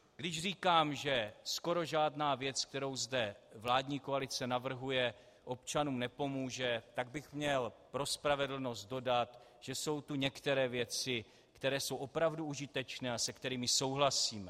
Když říkám, že skoro žádná věc, kterou zde vládní koalice navrhuje, občanům nepomůže, tak bych měl pro spravedlnost dodat, že jsou tu některé věci, které jsou opravdu užitečné a se kterými souhlasíme.